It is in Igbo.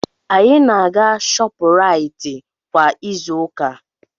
Anyị na-aga Shopuraiti kwa izu ụka.